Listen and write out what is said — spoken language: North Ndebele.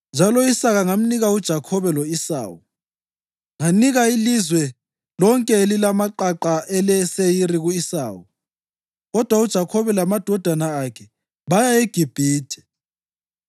njalo u-Isaka ngamnika uJakhobe lo-Esawu. Nganika ilizwe lonke elilamaqaqa eleSeyiri ku-Esawu, kodwa uJakhobe lamadodana akhe baya eGibhithe.